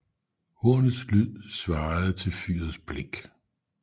Hornets lyd svarede til fyrets blink